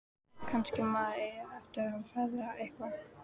Kannski maður eigi eftir að feðra eitthvað.